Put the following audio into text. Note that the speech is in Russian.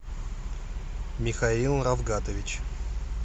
михаил равгатович